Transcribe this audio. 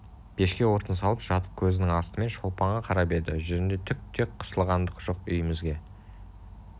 пешке отын салып жатып көзінің астымен шолпанға қарап еді жүзінде түк те қысылғандық жоқ үйімізге